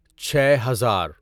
چھے ہزار